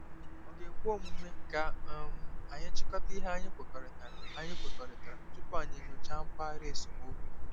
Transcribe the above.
Ọ̀ ga-ekwe omume ka um anyị chịkọta ihe anyị kwekọrịtara anyị kwekọrịtara tupu anyị enyocha mpaghara esemokwu?